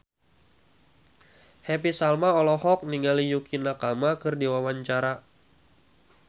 Happy Salma olohok ningali Yukie Nakama keur diwawancara